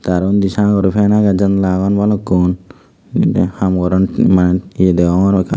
aro unni sagor fan aage jannala agon balukkun em ham goron manus ye degongor hoekkan.